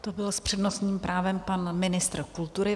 To byl s přednostním právem pan ministr kultury.